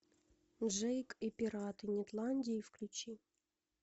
джейк и пираты нетландии включи